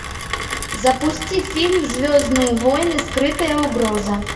запусти фильм звездные воины скрытая угроза